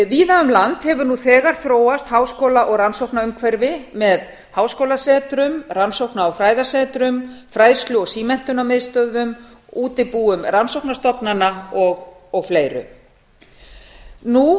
víða um land hefur nú þegar þróast háskóla og rannsóknaumhverfi með háskólasetrum rannsókna og fræðasetrum fræðslu og símenntunarmiðstöðvum útibúum rannsóknastofnana og fleiru nú þegar til